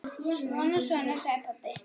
Svona, svona, sagði pabbi.